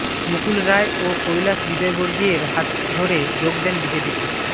মুকুল রায় ও কৈলাশ বিজয়বর্গীয়ের হাত ধরে যোগ দেন বিজেপিতে